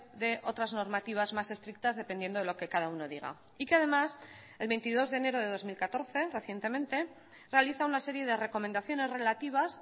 de otras normativas más estrictas dependiendo de lo que cada uno diga y que además el veintidós de enero de dos mil catorce recientemente realiza una serie de recomendaciones relativas